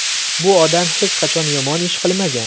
Bu odam hech qachon yomon ish qilmagan.